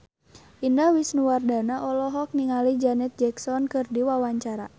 Indah Wisnuwardana olohok ningali Janet Jackson keur diwawancara